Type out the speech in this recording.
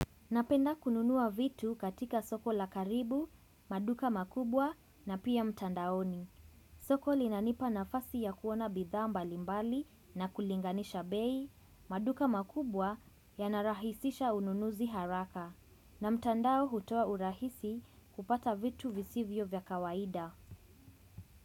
Napenda kununua vitu katika soko la karibu, maduka makubwa na pia mtandaoni. Soko li nanipa nafasi ya kuona bidhaa mbalimbali na kulinganisha bei, maduka makubwa yanarahisisha ununuzi haraka. Na mtandao hutoa urahisi kupata vitu visivyo vya kawaida.